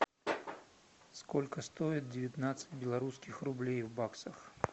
сколько стоит девятнадцать белорусских рублей в баксах